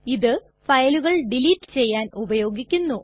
ഇത് ഫയലുകൾ ഡിലീറ്റ് ചെയ്യാൻ ഉപയോഗിക്കുന്നു